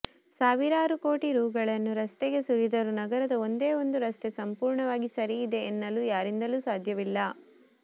ಸಾವಿರಾರು ಕೋಟಿ ರೂಗಳನ್ನು ರಸ್ತೆಗೆ ಸುರಿದರೂ ನಗರದ ಒಂದೇ ಒಂದು ರಸ್ತೆ ಸಂಪೂರ್ಣವಾಗಿ ಸರಿ ಇದೆ ಎನ್ನಲು ಯಾರಿಂದಲೂ ಸಾಧ್ಯವಿಲ್ಲ